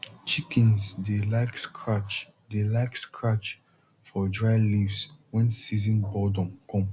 chickens dey like scratch dey like scratch for dry leaves when season boredom come